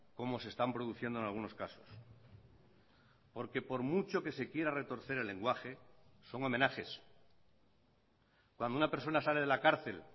como se están produciendo en algunos casos porque por mucho que se quiera retorcer el lenguaje son homenajes cuando una persona sale de la cárcel